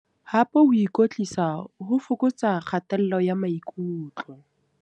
Hape ho ikwetlisa ho fokotsa kgatello ya maikutlo.